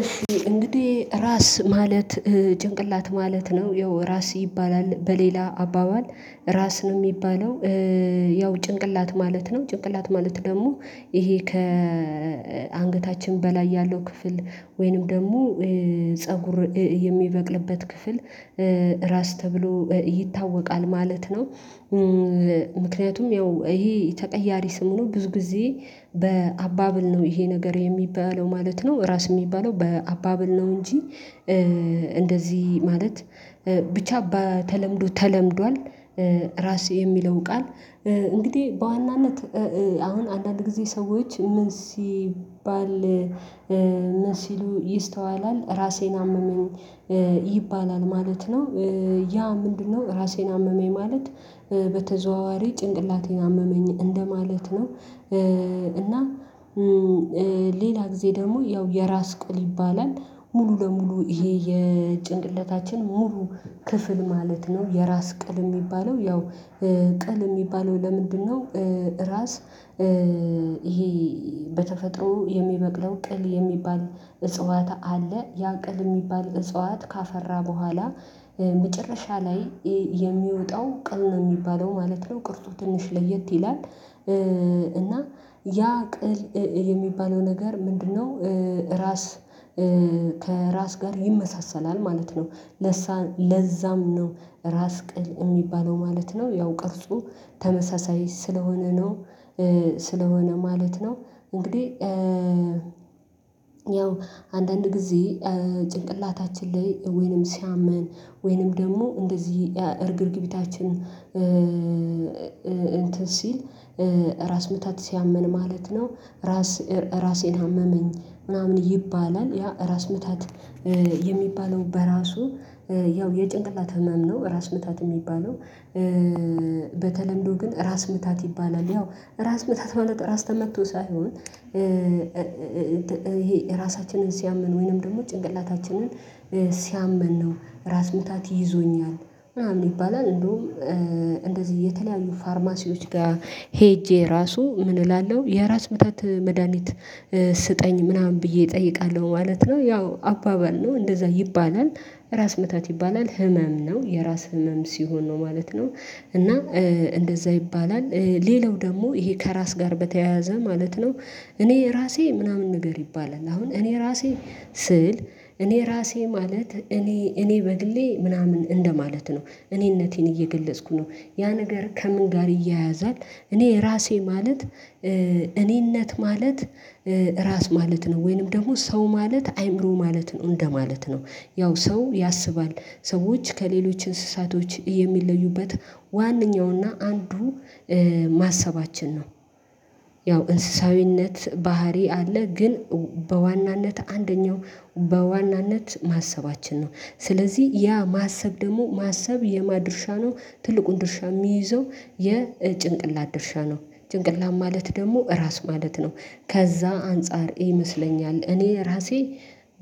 እሺ እንግዲህ ራስ ማለት ጭንቅላት ማለት ነው ያው ራስ ይባላል በሌላ አባባል ራስ ነው እሚባለው ያው ጭንቅላት ማለት ነው ጭንቅላት ማለት ደግሞ ይሄ ከአንገታችን በላይ ያለው ክፍል ወይንም ደግሞ ፀጉር የሚበቅልበት ክፍል ራስ ተብሎ ይታወቃል ማለት ነው። ምክንያቱም ያው ይሄ ተቀያሪ ስም ነው ብዙ ጊዜ በአባባል ነው ይሄ ነገር የሚባለው ማለት ነው ራስ የሚባለው በአባባል ነው እንጂ እንደዚህ ማለት ብቻ በተለምዶ ተለምዷል። ራሴ የሚለው ቃል እንግዲህ በዋናነት አሁን አንዳንድ ጊዜ ሰዎች ምን ሲባል ምን ሲሉ ይስተዋላል ራሴን አመመኝ ይባላል ማለት ነው ያ ምንድነው ራሴን አመመኝ ማለት በተዘዋዋሪ ጭንቅላቴን አመመኝ እንደማለት ነው። እና ሌላ ጊዜ ደግሞ ያው የራስ ቅል ይባላል ሙሉ ለሙሉ ይሄ የጭንቅላታችን ሙሉ ክፍል ማለት ነው የራስ ቅል እሚባለው ያው ቅል እሚባለው ለምንድነው? ራስ ይሄ በተፈጥሮ የሚበቅለው ቅል የሚባል እጽዋት አለ ያ ቅል እሚባል እጽዋት ካፈራ በኋላ መጨረሻ ላይ የሚወጣው ቅል ነው እሚባለው ማለት ነው ቅርጹ ትንሽ ለየት ይላል። እና ያ ቅል የሚባለው ነገር ምንድነው? ራስ ከራስ ጋር ይመሳሰላል ማለት ነው። ለዛም ነው ራስ ቅል እሚባለው ማለት ነው ያው ቅርጹ ተመሳሳይ ስለሆነ ነው ስለሆነ ማለት ነው። እንግዲህ ያው አንዳንድ ጊዜ ጭንቅላታችን ላይ ወይንም ሲያመን ወይንም ደግሞ እንደዚህ እርግብግቢታችን እንትን ሲል ራስ ምታት ሲያመን ማለት ነው። ራስ ራሴን አመመኝ ምናምን ይባላል ያ ራስ ምታት የሚባለው በራሱ ያው የጭንቅላት ህመም ነው ራስ ምታት እሚባለው። በተለምዶ ግን ራስ ምታት ይባላል ያው ራስ ምታት ማለት እራስ ተመቶ ሳይሆን ራሳችንን ሲያመን ወይንም ደግሞ ጭንቅላታችንን ሲያመን ነው። ራስ ምታት ይዞኛል ምናምን ይባላል እንዲያውም እንደዚህ የተለያዩ ፋርማሲዎች ጋር ሄጄ ራሱ ምን እላለሁ የራስ ምታት መድሃኒት ስጠኝ ምናምን ብዬ እጠይቃለሁ ማለት ነው። ያው አባባል ነው እንደዛ ይባላል ራስ ምታት ይባላል ህመም ነው የራስ ህመም ሲሆን ነው ማለት ነው። እና እንደዛ ይባላል ሌላው ደግሞ ይሄ ከራስ ጋር በተያያዘ ማለት ነው እኔ እራሴ ምናምን ነገር ይባላል አሁን እኔ ራሴ ስል እኔ እራሴ ማለት እኔ እኔ በግሌ ምናምን እንደማለት ነው። እኔነቴን እየገለጽኩ ነው ያ ነገር ከምን ጋር ይያያዛል እኔ ራሴ ማለት እኔነት ማለት ራስ ማለት ነው። ወይንም ደግሞ ሰው ማለት አዕይምሮ ማለት ነው እንደማለት ነው። ያው ሰው ያስባል ሰዎች ከሌሎች እንስሳቶች የሚለዩበት ዋነኛውና አንዱ ማሰባችን ነው። ያው እንስሳዊነት ባህሪ አለ ግን በዋናነት አንደኛው በዋናነት ማሰባችን ነው ስለዚህ ያ ማሰብ ደግሞ ማሰብ የማን ድርሻ ነው ትልቁን ድርሻ የሚይዘው የጭንቅላት ድርሻ ነው ጭንቅላት ማለት ደግሞ ራስ ማለት ነው። ከዛ አንፃር ይመስለኛል እኔ ራሴ